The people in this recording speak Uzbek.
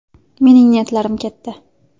Mening niyatlarim katta.